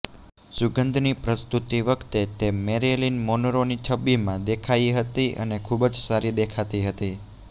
સુગંધની પ્રસ્તુતિ વખતે તે મેરિલીન મોનરોની છબીમાં દેખાઇ હતી અને ખૂબ જ સારી દેખાતી હતી